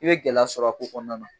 I be gɛlɛya sɔrɔ a ko kɔnɔna na.